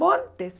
Montes!